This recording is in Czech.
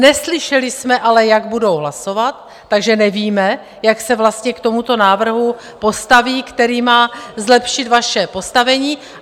Neslyšeli jsme ale, jak budou hlasovat, takže nevíme, jak se vlastně k tomuto návrhu postaví, který má zlepšit vaše postavení.